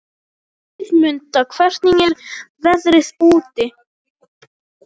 Guðmunda, hvernig er veðrið úti?